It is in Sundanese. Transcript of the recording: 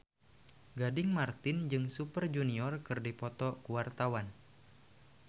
Gading Marten jeung Super Junior keur dipoto ku wartawan